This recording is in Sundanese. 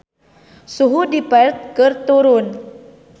Suhu di Perth keur turun